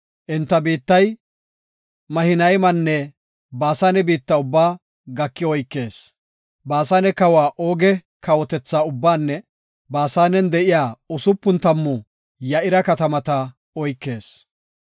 Enta biittay Mahinaymanne Baasane biitta ubbaa gaki oykees. Baasane kawa Ooge kawotetha ubbaanne Baasanen de7iya usupun tammu Ya7ira katamata oykees.